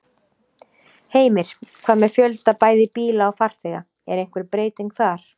Heimir: Hvað með fjölda bæði bíla og farþega, er einhver breyting þar?